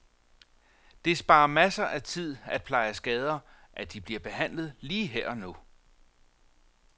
Det sparer masser af tid til at pleje skader, at de bliver behandlet lige her og nu.